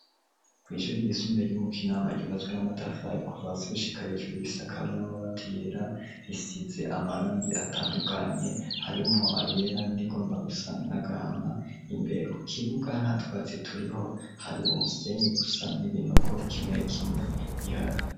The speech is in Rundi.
Kw'ishuri ryisumbuye ry'umukinama ryubatswe n'amatafayi kuvasi gushikay ishururisakwe n'amabati yera risitse amarongi atandukanye harimo ayera nirigomba gusa n'agahama imbere ku kibuga nta twatsi turiho hari umusenyi gusa n'ibinogo kimwe kimwe bihari.